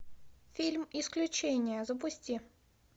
фильм исключение запусти